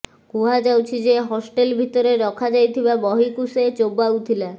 କୁହାଯାଉଛି ଯେ ହଷ୍ଟେଲ ଭିତରେ ରଖାଯାଇଥିବା ବହିକୁ ସେ ଚୋବାଉଥିଲା